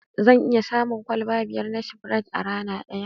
Zan iya shan kwalba biyar na Spirite a rana daya.